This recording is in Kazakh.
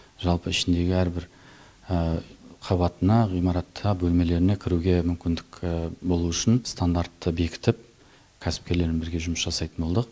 жалпы ішіндегі әрбір қабатына ғимаратта бөлмелеріне кіруге мүмкіндік болу үшін стандартты бекітіп кәсіпкерлермен бірге жұмыс жасайтын болдық